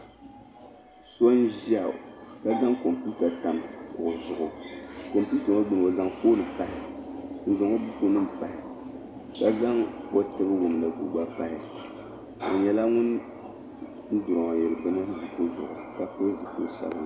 So n-ʒiya ka zaŋ kompiwuta tam kuɣu zuɣu kompiwuta ŋɔ gbuni o zaŋ fooni pahi n-zaŋ o bukunima pahi ka zaŋ o tibiwumdigu gba pahi o nyɛla ŋun durooyiri bini kuɣu zuɣu ka pili zipili sabinli.